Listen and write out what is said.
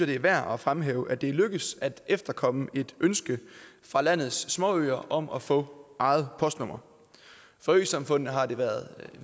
det er værd at fremhæve at det er lykkedes at efterkomme et ønske fra landets småøer om at få eget postnummer for øsamfundene har det været